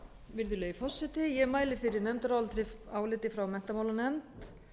virðulegi forseti ég mæli fyrir nefndaráliti frá menntamálanefnd